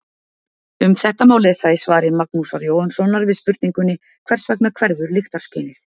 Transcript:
Um þetta má lesa í svari Magnúsar Jóhannssonar við spurningunni Hvers vegna hverfur lyktarskynið?